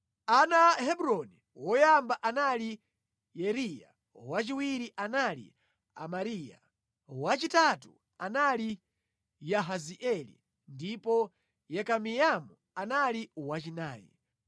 Ana a Hebroni: woyamba anali Yeriya, wachiwiri anali Amariya, wachitatu anali Yahazieli ndipo Yekameamu anali wachinayi.